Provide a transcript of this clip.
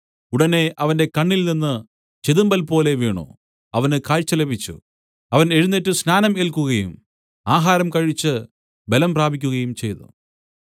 ഉടനെ അവന്റെ കണ്ണിൽ നിന്ന് ചെതുമ്പൽപോലെ വീണു അവന് കാഴ്ച ലഭിച്ചു അവൻ എഴുന്നേറ്റ് സ്നാനം ഏൽക്കുകയും ആഹാരം കഴിച്ച് ബലം പ്രാപിക്കുകയും ചെയ്തു